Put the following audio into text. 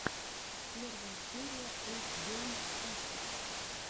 первая серия рус гейм тактикс